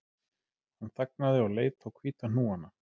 Hann þagnaði og leit á hvíta hnúana